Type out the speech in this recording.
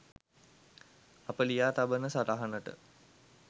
අප ලියා තබන සටහනට